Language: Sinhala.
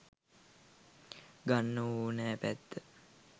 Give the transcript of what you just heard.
ගන්න ඕනැ පැත්ත.